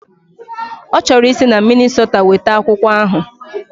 Ọ chọrọ isi na Minnisota weta akwụkwọ ahụ